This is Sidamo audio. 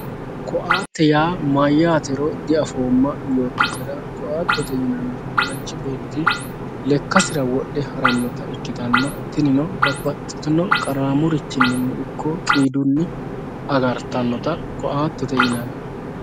koattete yaa mayyaatero diafooma yoottatera koattete yinannihu manchi betti lekkasira wodhe harannota ikkitanna tinino babbaxxitino qaraamurichinni ikko qiidunni agartanota koattete yinanni.